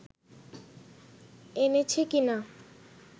এনেছে কিনা